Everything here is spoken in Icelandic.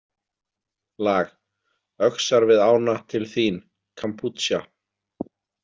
Lag: Öxar við ána Til þín, Kampútsja!